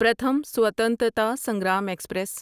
Pratham Swatantrata Sangram express